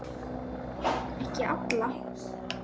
Ekki alla.